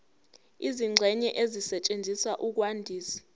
izingxenye ezisetshenziswa ukwandisa